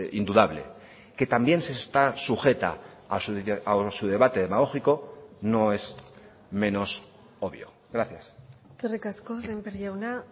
indudable que también se está sujeta a su debate demagógico no es menos obvio gracias eskerrik asko sémper jauna